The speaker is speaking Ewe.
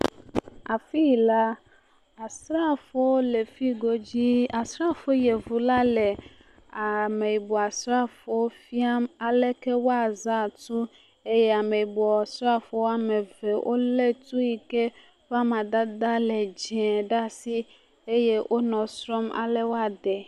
afii la asrafowo le fiyi godzi asrafo yevu la le ameyibɔ srafowo fiam aleke woazã tu ye ameyibɔ srafo wɔmeve wóle tu yike ƒa madede ele dzɛ̃ ɖasi eye wonɔ srɔm ale woadeɛ